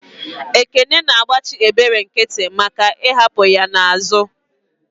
Ekene na agbachi ebere nkiti maka I'hapu ya n'azu.